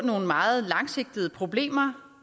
nogle meget langsigtede problemer